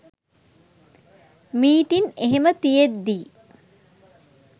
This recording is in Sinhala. මීටින් එහෙම තියෙද්දි